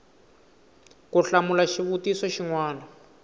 ku hlamula xivutiso xin wana